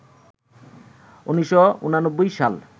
১৯৮৯ সাল